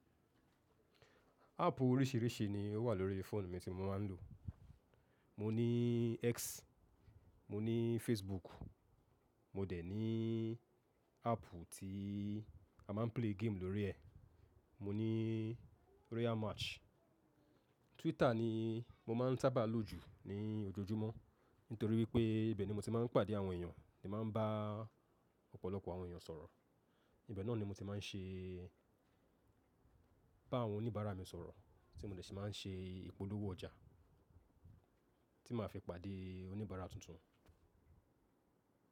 Áàpù oríṣìíríṣìí ni ó wà lórí fóònù mi tí mo máa ń lò. Mo ní X, mo ní Facebook, mo dẹ̀ ní áàpù tí a máa ń play game lórí ẹ̀, mo ní Royal Match. Twitter ni mo máa ń sáábà lò jù ní ojoojúmọ́ nítorí wípé ibẹ̀ ni mo ti máa ń pàdé àwọn èèyàn, tí màá ń bá ọ̀pọ̀lọpọ̀ àwọn èèyàn sọ̀rọ̀. Ibẹ̀ náà ni mo ti máa ń ṣe bá àwọn oníbàárà mi sọ̀rọ̀ tí mo dẹ̀ tí máa ń ṣe ìpolówó ọjà tí màá fi pàdé oníbàárà tuntun.